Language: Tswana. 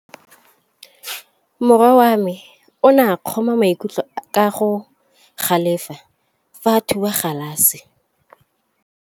Morwa wa me o ne a kgomoga maikutlo ka go galefa fa a thuba galase.